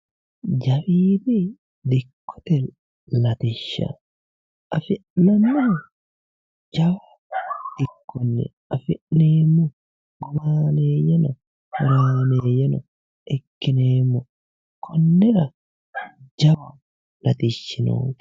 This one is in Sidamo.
jawiidi dikkote latishsha afi'neemmohu jawu dikkonni afi'neemmohi horaameeyyeno ikkineemmo konnira jawa latishshi no.